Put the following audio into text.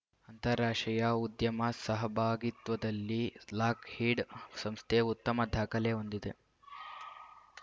ಅಂತಾರಾಷ್ಟ್ರೀಯ ಉದ್ಯಮ ಸಹಭಾಗಿತ್ವದಲ್ಲಿ ಲಾಕ್‌ಹೀಡ್‌ ಸಂಸ್ಥೆ ಉತ್ತಮ ದಾಖಲೆ ಹೊಂದಿದೆ